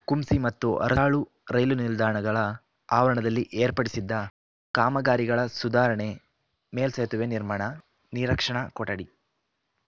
ಕುಂಸಿ ಮತ್ತು ಅರಹಾಳು ರೈಲು ನಿಲ್ದಾಣಗಳ ಆವರಣದಲ್ಲಿ ಏರ್ಪಡಿಸಿದ್ದ ಕಾಮಗಾರಿಗಳ ಸುಧಾರಣೆ ಮೇಲ್ಸೇತುವೆ ನಿರ್ಮಾಣ ನನೀರಕ್ಷಣಾ ಕೊಠಡಿ